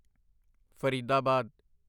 Faridabad